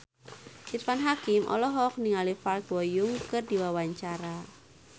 Irfan Hakim olohok ningali Park Bo Yung keur diwawancara